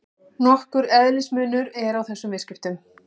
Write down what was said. Nokkur eðlismunur er á þessum viðskiptum.